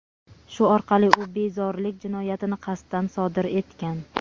Shu orqali u bezorilik jinoyatini qasddan sodir etgan.